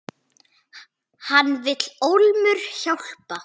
Hann vill ólmur hjálpa.